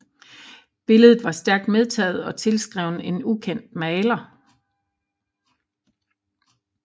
Billedet var stærkt medtaget og tilskrevet en ukendt maler